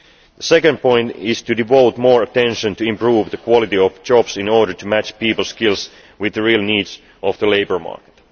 The second point is to devote more attention to improving the quality of jobs in order to match peoples' skills with the real needs of the labour market.